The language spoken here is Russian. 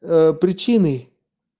причины